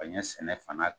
Ka ɲɛ sɛnɛ fana